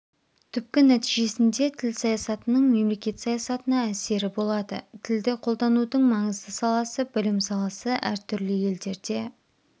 түпкі нәтижесінде тіл саясатының мемлекет саясатына әсері болады тілді қолданудың маңызды саласы білім саласы әртүрлі елдерде